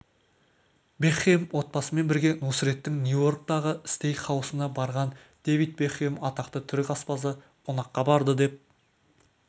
бекхэм отбасымен бірге нусреттің нью-йорктағы стейк-хаусына барған дэвид бекхэм атақты түрік аспазы қонаққа барды деп